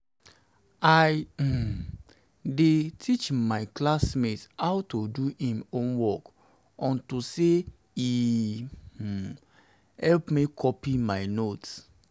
i um dey teach my classmate how to do im homework unto say e um help me copy my note